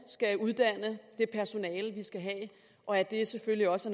uddanne det personale de skal have og at det selvfølgelig også